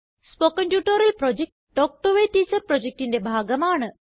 spoken tutorial project talk to a teacher projectന്റെ ഭാഗമാണ്